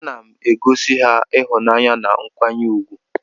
Anam egosi ha ihunanya na nkwanye ugwu.